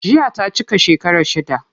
Jiya ta cika shekara shida.